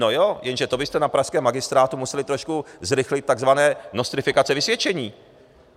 No jo, jenže to byste na pražském magistrátu museli trošku zrychlit takzvané nostrifikace vysvědčení.